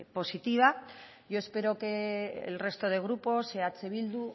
positiva yo espero que el resto de grupos eh bildu